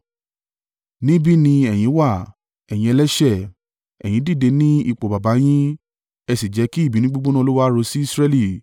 “Níbí ni ẹ̀yin wà, ẹ̀yin ẹlẹ́ṣẹ̀, ẹ̀yin dìde ní ipò baba yín, ẹ sì jẹ́ kí ìbínú gbígbóná Olúwa ru sí Israẹli.